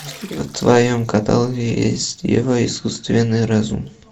в твоем каталоге есть ева искусственный разум